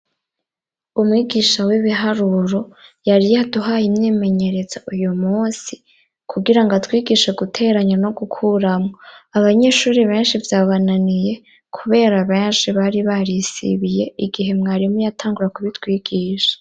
Umwigisha w'ibiharuro yari yaduhaye imyemenyerezo uyu munsi, kugira ngo atwigishe guteranya no gukuramwo. Abanyeshuri benshi vyabananiye kubera benshi bari barisibiye igihe mwarimu yatangura kubitwigisha.